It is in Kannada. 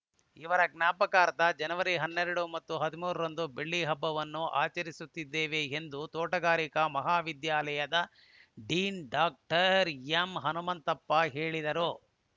ಇದರ ಜ್ಞಾಪಕಾರ್ಥ ಜನವರಿ ಹನ್ನೆರಡು ಮತ್ತು ಹದಿಮೂರ ರಂದು ಬೆಳ್ಳಿ ಹಬ್ಬವನ್ನು ಆಚರಿತ್ತಿದ್ದೇವೆ ಎಂದು ತೋಟಗಾರಿಕಾ ಮಹಾವಿದ್ಯಾಲಯದ ಡೀನ್‌ ಡಾಕ್ಟರ್ ಎಂಹನುಮಂತಪ್ಪ ಹೇಳಿದರು